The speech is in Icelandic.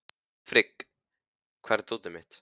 Frigg, hvar er dótið mitt?